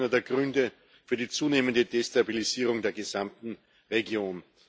Das ist auch einer der Gründe für die zunehmende Destabilisierung der gesamten Region.